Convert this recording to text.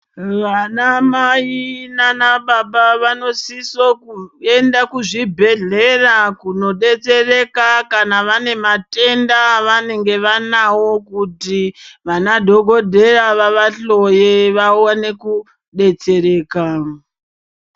Vanamai naanababa vanosiso kuenda kuzvibhedhlera kunodetsereka kana vane matenda avanenge vanawo kuti vana dhogodheya vavahloye vawone kudetsereka.